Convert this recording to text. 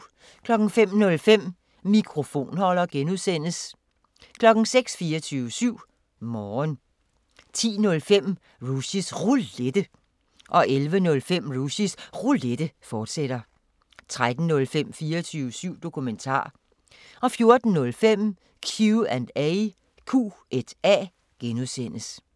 05:05: Mikrofonholder (G) 06:00: 24syv Morgen 10:05: Rushys Roulette 11:05: Rushys Roulette, fortsat 13:05: 24syv Dokumentar 14:05: Q&A (G)